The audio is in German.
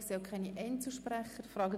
Ich sehe keine Einzelsprecher.